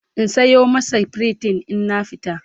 in Sayo masa pritin in na fita?